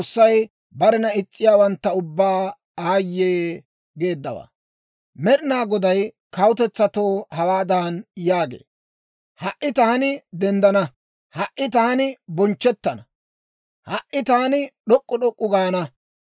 Med'inaa Goday kawutetsatoo hawaadan yaagee; «Ha"i taani denddana; ha"i taani bonchchettana; ha"i taani d'ok'k'u d'ok'k'u gaana.